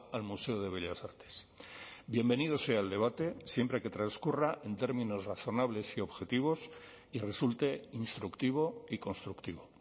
al museo de bellas artes bienvenido sea el debate siempre que transcurra en términos razonables y objetivos y resulte instructivo y constructivo